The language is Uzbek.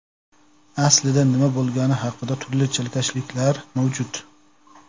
Aslida nima bo‘lgani haqida turli chalkashliklar mavjud.